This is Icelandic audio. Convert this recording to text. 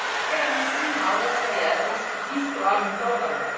Það að hafa meira um sín mál að segja er ósköp vítt og almennt orðalag.